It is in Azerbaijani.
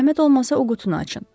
Zəhmət olmasa o qutunu açın.